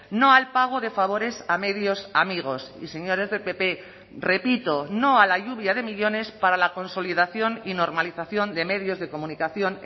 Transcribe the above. no al pago de favores a medios amigos y señores del pp repito no a la lluvia de millónes para la consolidación y normalización de medios de comunicación